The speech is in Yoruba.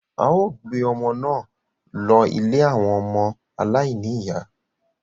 a ó gbé ọmọ náà lọ ilé àwọn ọmọ aláìní-ìyá